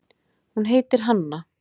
Hún heitir Hanna.